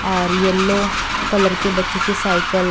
और yellow colour के बच्चों की साइकिल --